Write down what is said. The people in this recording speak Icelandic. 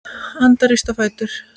Anda, rístu á fætur.